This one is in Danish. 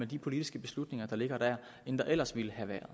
de politiske beslutninger der ligger der end der ellers ville være